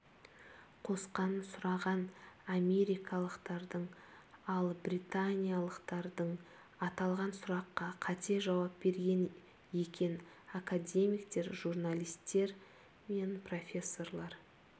қосқанын сұраған америкалықтардың ал британиялықтардың аталған сұраққа қате жауап берген екен академиктер журналистер пен профессорлар